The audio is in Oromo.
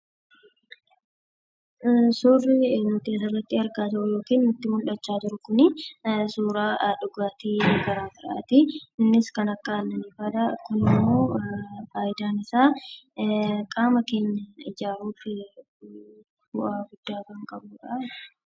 Suurri asirratti nutti mul'achaa jiru suuraa dhugaatii garaagaraati. Innis kan akka aannanii fa'aadha. Kunimmoo fayidaan isaa qaama keenya ijaaruuf bu'aa guddaa kan qabudha.